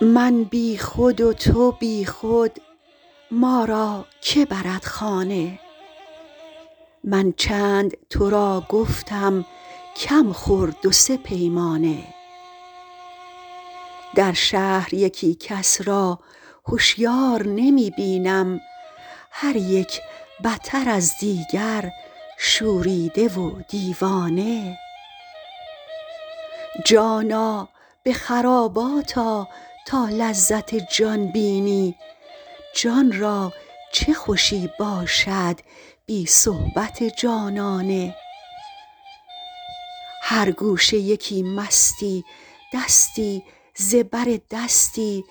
من بی خود و تو بی خود ما را که برد خانه من چند تو را گفتم کم خور دو سه پیمانه در شهر یکی کس را هشیار نمی بینم هر یک بتر از دیگر شوریده و دیوانه جانا به خرابات آ تا لذت جان بینی جان را چه خوشی باشد بی صحبت جانانه هر گوشه یکی مستی دستی ز بر دستی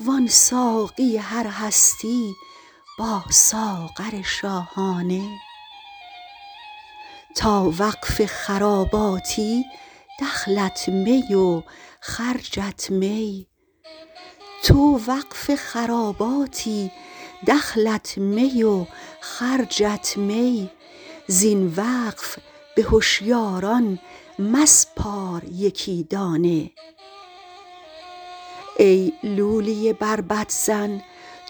وان ساقی هر هستی با ساغر شاهانه تو وقف خراباتی دخلت می و خرجت می زین وقف به هشیاران مسپار یکی دانه ای لولی بربط زن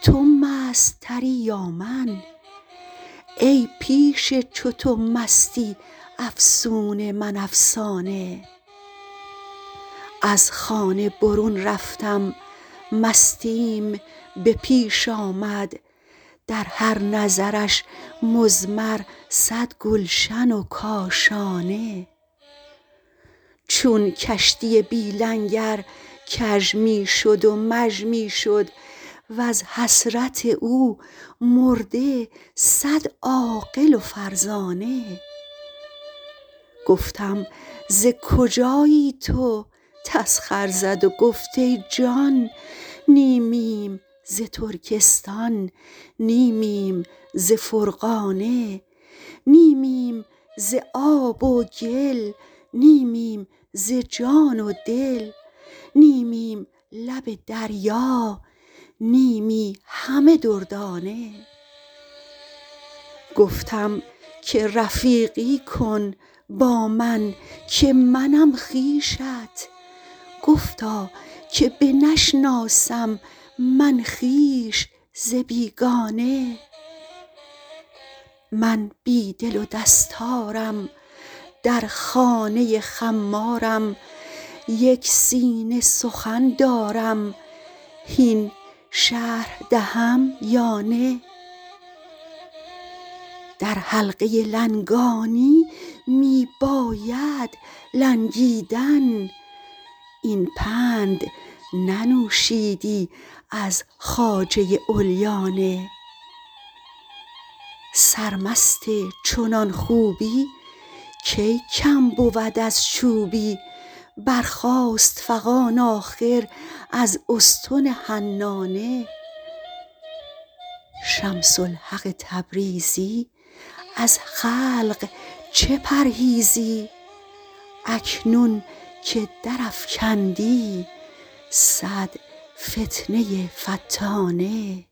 تو مست تری یا من ای پیش چو تو مستی افسون من افسانه از خانه برون رفتم مستیم به پیش آمد در هر نظرش مضمر صد گلشن و کاشانه چون کشتی بی لنگر کژ می شد و مژ می شد وز حسرت او مرده صد عاقل و فرزانه گفتم ز کجایی تو تسخر زد و گفت ای جان نیمیم ز ترکستان نیمیم ز فرغانه نیمیم ز آب و گل نیمیم ز جان و دل نیمیم لب دریا نیمی همه دردانه گفتم که رفیقی کن با من که منم خویشت گفتا که بنشناسم من خویش ز بیگانه من بی دل و دستارم در خانه خمارم یک سینه سخن دارم هین شرح دهم یا نه در حلقه لنگانی می بایدت لنگیدن این پند ننوشیدی از خواجه علیانه سرمست چنان خوبی کی کم بود از چوبی برخاست فغان آخر از استن حنانه شمس الحق تبریزی از خلق چه پرهیزی اکنون که درافکندی صد فتنه فتانه